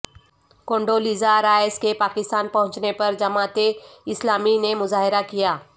Kondo Lisa Rice کے پاکستان پہنچنے پر جماعت اسلامی نے مظاہرہ کیا